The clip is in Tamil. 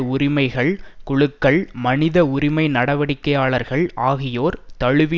உரிமைகள் குழுக்கள் மனித உரிமை நடவடிக்கையாளர்கள் ஆகியோர் தழுவி